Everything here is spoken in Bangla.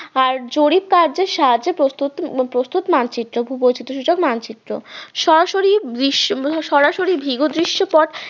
আর জরিপ কার্যের সাহায্যে প্রস্তুত প্রস্তুত মানচিত্র ভূবৈচিত্র সূচক মানচিত্র সরাসরি ভিগো সরাসরি ভিগো দৃশ্যপট